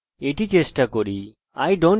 এটি ঠিক কাজ করছে